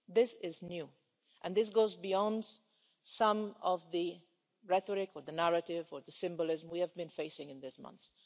This is new and it goes beyond some of the rhetoric or the narrative or the symbolism we have been facing in recent months.